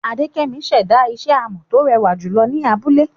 Adekemi ṣẹ̀dá isẹ́ amọ̀ tó rẹwà jùlọ ni abúlé.